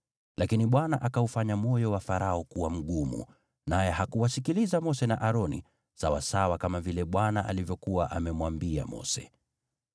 Lakini Bwana akaufanya moyo wa Farao kuwa mgumu, naye hakuwasikiliza Mose na Aroni, sawasawa kama vile Bwana alivyokuwa amemwambia Mose.